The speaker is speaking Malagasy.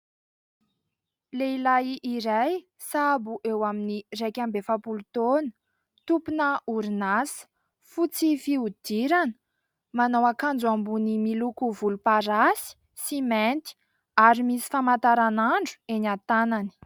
Lehilahy iray sahabo eo amin'ny iraika amby efapolo taona. Tompona orinasa, fotsy fihodirana, manao ankanjo ambony miloko volomparasy sy mainty ary misy famantaranandro eny an-tanany.